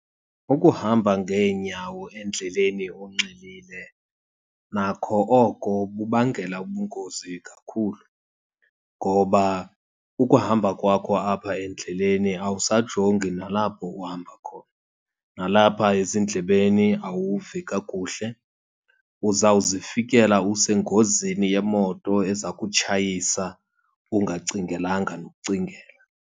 Ukuhamba ngeenyawo endleleni unxilile nakho oko kubangela ubungozi kakhulu. Ngoba ukuhamba kwakho apha endleleni, awusajongi nalapho uhamba khona. Nalapha ezindlebeni awuvi kakuhle, uzawuzifikela usengozini yemoto eza kutshayisa ungacingelanga nokucingela.